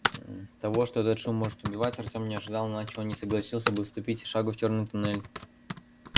того что этот шум может убивать артем не ожидал иначе он не согласился бы ступить и шагу в чёрный туннель